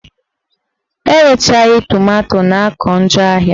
Erechaghị tomanto na-akụ njọ ahịa